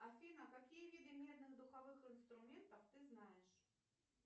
афина какие виды медных духовых инструментов ты знаешь